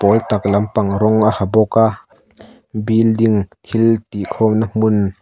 a tak lampang rawng a ha bawka building thil tih khawmna hmun.